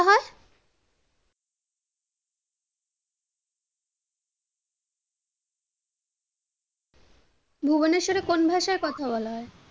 ভুবনেশ্বরে কোন ভাষায় কথা বলা হয়?